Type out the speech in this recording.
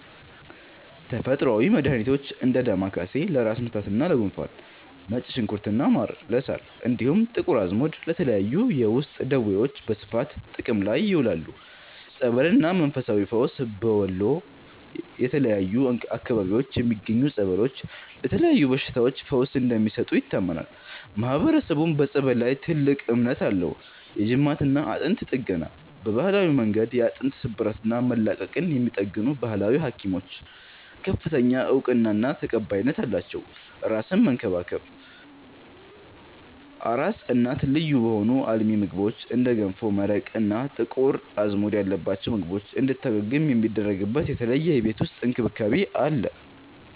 ተፈጥሮአዊ መድሃኒቶች፦ እንደ ዳማከሴ (ለራስ ምታትና ለጉንፋን)፣ ነጭ ሽንኩርትና ማር (ለሳል)፣ እንዲሁም ጥቁር አዝሙድ ለተለያዩ የውስጥ ደዌዎች በስፋት ጥቅም ላይ ይውላሉ። ጸበልና መንፈሳዊ ፈውስ፦ በወሎ የተለያዩ አካባቢዎች የሚገኙ ጸበሎች ለተለያዩ በሽታዎች ፈውስ እንደሚሰጡ ይታመናል፤ ማህበረሰቡም በጸበል ላይ ትልቅ እምነት አለው። የጅማትና አጥንት ጥገና፦ በባህላዊ መንገድ የአጥንት ስብራትና መላቀቅን የሚጠግኑ "ባህላዊ ሀኪሞች" ከፍተኛ እውቅናና ተቀባይነት አላቸው። አራስን መንከባከብ፦ አራስ እናት ልዩ በሆኑ አልሚ ምግቦች (እንደ ገንፎ፣ መረቅ እና ጥቁር አዝሙድ ያለባቸው ምግቦች) እንድታገግም የሚደረግበት የተለየ የቤት ውስጥ እንክብካቤ አለ።